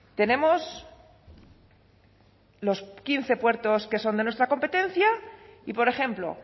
tenemos los quince puertos que son de nuestra competencia y por ejemplo